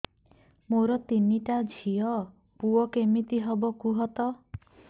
ମୋର ତିନିଟା ଝିଅ ପୁଅ କେମିତି ହବ କୁହତ